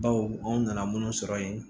Baw anw nana minnu sɔrɔ yen